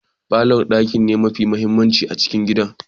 Falor daki ne mafi mahimmanci a cikin gidan.